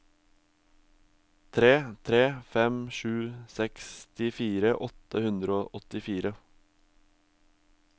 tre tre fem sju sekstifire åtte hundre og åttifire